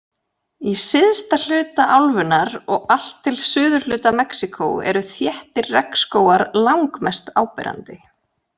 Í syðsta hluta álfunnar og allt til suðurhluta Mexíkó eru þéttir regnskógar langmest áberandi.